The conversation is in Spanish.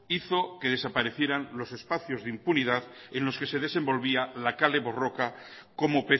hizo que desaparecieran los espacios de impunidad en los que se desenvolvía la kale borroka como